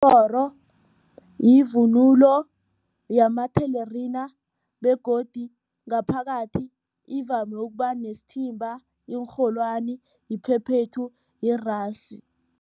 yivunulo yamathelerina begodu ngaphakathi ivame ukuba nesithimba, iinrholwani, iphephethu, yirasu.